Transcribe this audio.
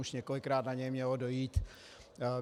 Už několikrát na něj mělo dojít.